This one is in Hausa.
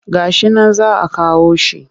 Ga shi nan za a kawo shi